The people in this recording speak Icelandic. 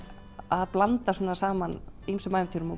að blanda saman ýmsum ævintýrum